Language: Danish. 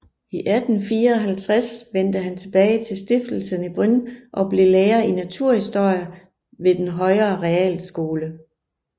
I 1854 vendte han tilbage til stiftelsen i Brünn og blev lærer i naturhistorie ved den højere realskole